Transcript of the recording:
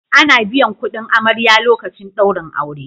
Ana biyan kudin amarya lokacin daurin aure